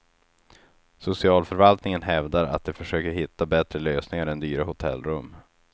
Socialförvaltningen hävdar att de försöker hitta bättre lösningar än dyra hotellrum.